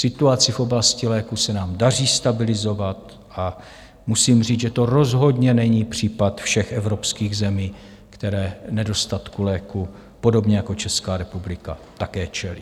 Situaci v oblasti léků se nám daří stabilizovat a musím říct, že to rozhodně není případ všech evropských zemí, které nedostatku léků podobně jako Česká republika také čelí.